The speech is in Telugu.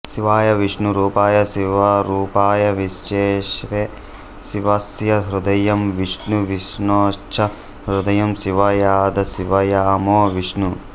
శివాయ విష్ణు రూపాయ శివరూపాయ విష్ణవే శివస్య హృదయం విష్ణు విష్ణోశ్చ హృదయం శివ యథాశివమయో విష్ణు